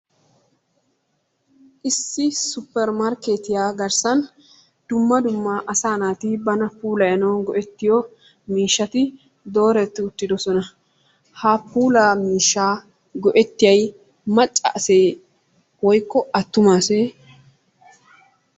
Issi issi supper markkeetiya garssan dumma dumma asaa naati bana pullayanawu go'ettiyo miishshati dooreti uttiddossona. Ha puulaa miishshaa go'ettiyay macca aseye woykko attuma asee?